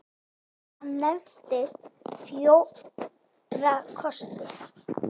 Hann nefnir fjóra kosti.